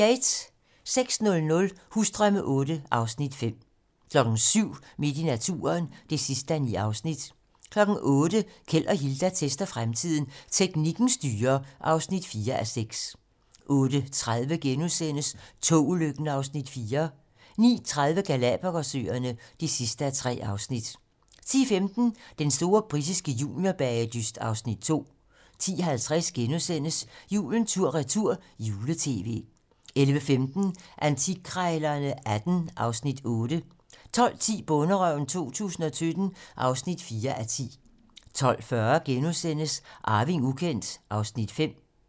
06:00: Husdrømme VIII (Afs. 5) 07:00: Midt i naturen (9:9) 08:00: Keld og Hilda tester fremtiden - Teknikken styrer (4:6) 08:30: Togulykken (Afs. 4)* 09:30: Galapagos-øerne (3:3) 10:15: Den store britiske juniorbagedyst (Afs. 2) 10:50: Julen tur-retur - jule-tv * 11:15: Antikkrejlerne XVIII (Afs. 8) 12:10: Bonderøven 2017 (4:10) 12:40: Arving ukendt (Afs. 5)*